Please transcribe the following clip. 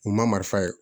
U ma marifa ye